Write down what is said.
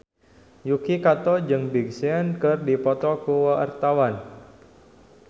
Yuki Kato jeung Big Sean keur dipoto ku wartawan